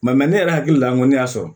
ne yɛrɛ hakili la n ko ne y'a sɔrɔ